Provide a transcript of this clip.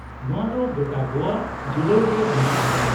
ᱱᱚᱶᱟ ᱫᱚ ᱜᱚᱴᱟ ᱜᱚᱣᱟ ᱡᱩᱲᱟᱹᱣ ᱜᱮ ᱦᱩᱭᱩᱜᱼᱟ ᱾